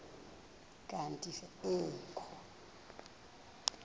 kanti ee kho